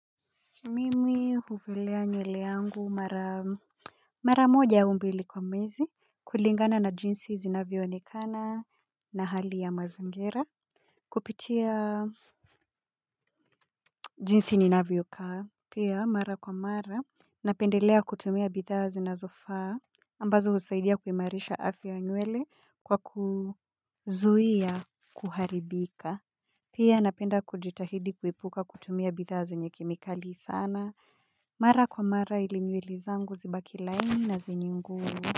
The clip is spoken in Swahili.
Mimi huvilea nywele yangu mara moja au mbili kwa mwezi kulingana na jinsi zinavyoonekana na hali ya mazingira. Kupitia jinsi ninavyo kaa pia mara kwa mara napendelea kutumia bidhaa zinazofaa ambazo husaidia kuimarisha afya nywele kwa kuzuia kuharibika. Pia napenda kujitahidi kuepuka kutumia bidhaa zenye kemikali sana. Mara kwa mara ili nywele zangu zibaki laini na zenye nguvu.